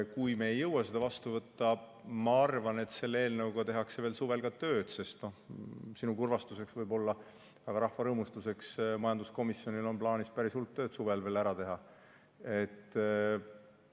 Kui me ei jõua seda vastu võtta, siis ma arvan, et selle eelnõuga tehakse veel suvel ka tööd, sest võib-olla sinu kurvastuseks, aga rahva rõõmustamiseks on majanduskomisjonil plaanis päris hulk tööd suvel veel ära teha.